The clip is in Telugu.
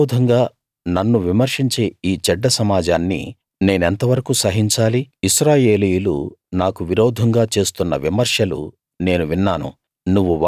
నాకు విరోధంగా నన్ను విమర్శించే ఈ చెడ్డ సమాజాన్ని నేనెంత వరకూ సహించాలి ఇశ్రాయేలీయులు నాకు విరోధంగా చేస్తున్న విమర్శలు నేను విన్నాను